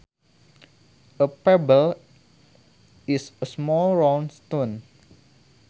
A pebble is a small round stone